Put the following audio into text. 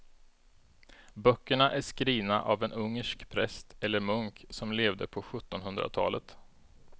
Böckerna är skrivna av en ungersk präst eller munk som levde på sjuttonhundratalet.